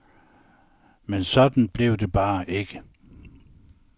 Men sådan blev det bare ikke.